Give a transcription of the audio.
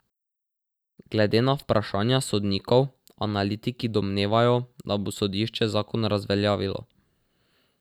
Glede na vprašanja sodnikov analitiki domnevajo, da bo sodišče zakon razveljavilo.